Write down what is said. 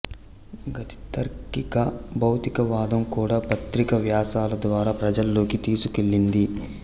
గతి తార్కిక భౌతికవాదం కూడా పత్రిక వ్యాసాల ద్వారా ప్రజల్లోకి తీసుకువెళ్లింది